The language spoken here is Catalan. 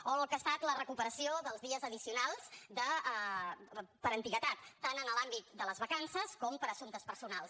o el que ha estat la recuperació dels dies addicionals per antiguitat tant en l’àmbit de les vacances com per assumptes personals